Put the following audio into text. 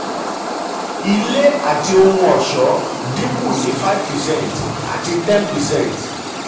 ilé àti ohun àti ohun ọṣọ́ dínkù ní five percent àti ten percent.